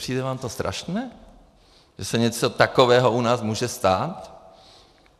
Nepřijde vám to strašné, že se něco takového u nás může stát?